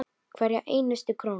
Hverja einustu krónu.